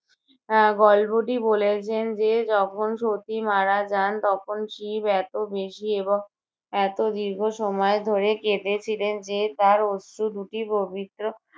আহ গল্পটি বলেছেন যে যখন সতী মারা যান তখন শিব এতো বেশি এবং এতো দীর্ঘ সময় ধরে কেঁদেছিলেন যে তার অশ্রু দুটি পবিত্র